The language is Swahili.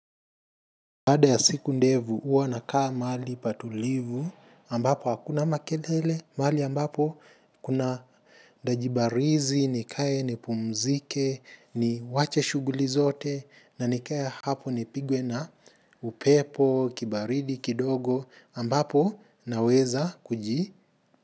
Baada ya siku ndevu huwa nakaa mahali patulivu ambapo hakuna makelele mahali ambapo kuna dajibarizi, nikae, nipumzike, ni wache shuguli zote na nikae hapo nipigwe na upepo, kibaridi, kidogo ambapo naweza kuji.